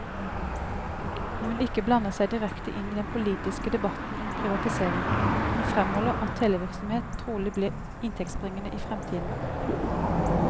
Hun vil ikke blande seg direkte inn i den politiske debatten om privatisering, men fremholder at televirksomhet trolig blir inntektsbringende i fremtiden.